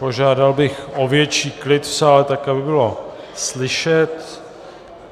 Požádal bych o větší klid v sále tak, aby bylo slyšet.